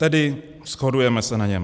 Tedy shodujeme se na něm.